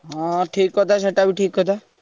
ହଁ ଠିକ କଥା ସେଇଟା ବି ଠିକ କଥା।